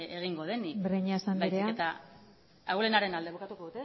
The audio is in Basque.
egingo denik breñas andrea baizik eta bukatuko